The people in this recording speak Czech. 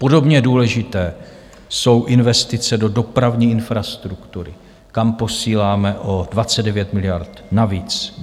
Podobně důležité jsou investice do dopravní infrastruktury, kam posíláme o 29 miliard navíc.